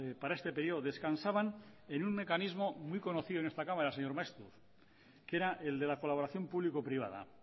para este periodo descansaban en un mecanismo muy conocido en esta cámara señor maeztu que era el de la colaboración público privada